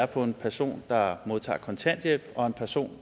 på en person der modtager kontanthjælp og en person